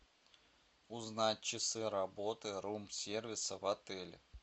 узнать часы работы рум сервиса в отеле